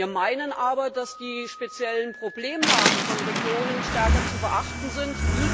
Wir meinen aber, dass die speziellen Problemlagen von Regionen stärker zu beachten sind